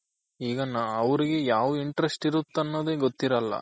ಈಗ ಅವ್ರಿಗೆ ಯಾವ್ interest ಇರುತ್ತ್ ಅನ್ನೋದೇ ಗೊತ್ತಿರಲ್ಲ